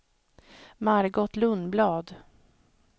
Margot Lundblad